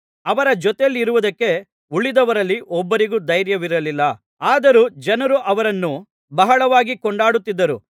ಅವರ ಜೊತೆಯಲ್ಲಿರುವುದಕ್ಕೆ ಉಳಿದವರಲ್ಲಿ ಒಬ್ಬರಿಗೂ ಧೈರ್ಯವಿರಲಿಲ್ಲ ಆದರೂ ಜನರು ಅವರನ್ನು ಬಹಳವಾಗಿ ಕೊಂಡಾಡುತ್ತಿದ್ದರು